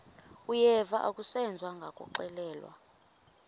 uyeva akuseva ngakuxelelwa